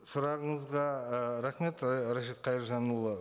сұрағыңызға ы рахмет ы ережеп қайыржанұлы